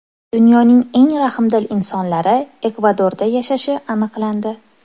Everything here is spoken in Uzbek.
Dunyoning eng rahmdil insonlari Ekvadorda yashashi aniqlandi.